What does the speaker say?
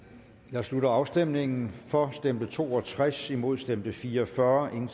jeg slutter afstemningen for stemte to og tres imod stemte fire og fyrre hverken